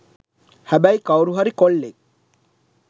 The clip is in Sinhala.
හැබැයි කවුරු හරි කොල්ලෙක්